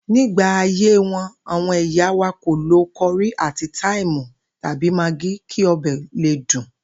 Nígbà ayé wo̩n, àwo̩n ìyá wa kò lo ko̩rí àti táìmù tàbí magí kí o̩bè̩ le dùn